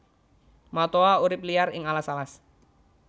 Matoa urip liar ing alas alas